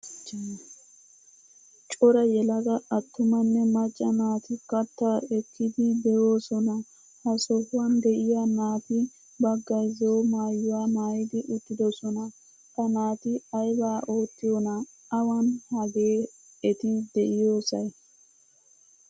Cora yelaga attumane macca naati katta ekkidi deosona. Ha sohuwan deiya naati baggaay zo'o maayuwaa maayidi uttidosona. Ha naati ayba oottiyona? Awan hagee eti deiyosay?